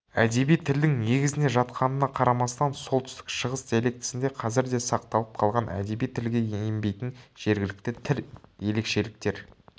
әдеби тілдің негізіне жатқанына қарамастан солтүстік шығыс диалектісінде қазір де сақталып қалған әдеби тілге енбейтін жергілікті тіл ерекшеліктер